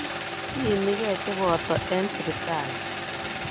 Iimigee chepoto eng hospitali.